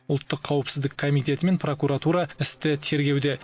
ұлттық қауіпсіздік комитеті мен прокуратура істі тергеуде